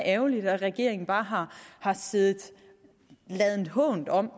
ærgerligt at regeringen bare har ladet hånt om